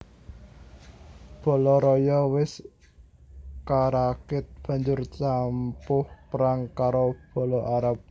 Bala raya wis karakit banjur campuh perang karo bala Arab